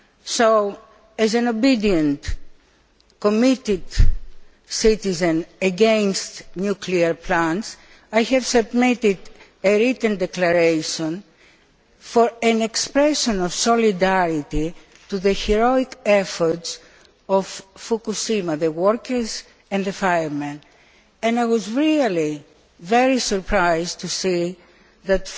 So as an obedient, committed citizen against nuclear plants, I have submitted a Written Declaration for an expression of solidarity for the heroic efforts of Fukushima the workers and the firemen and I was really very surprised to see that